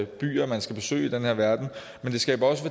byer man skal besøge i den her verden men det skaber også